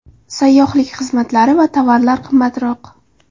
Sayyohlik xizmatlari va tovarlar qimmatroq.